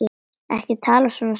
Ekki tala svona, Sif mín!